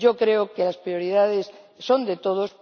Yo creo que las prioridades son de todos